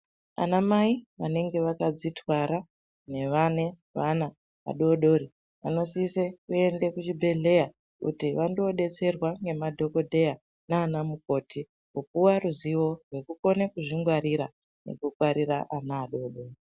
Anamai vanenge vakadzitwara nevane vana vadodori vanosise kuende kuchibhedhleya kuti vandodetserwa nemadhokodheya nana mukoti kupuwe ruzivo rwekukona kuzvingwarira nekungwarira ana adodori.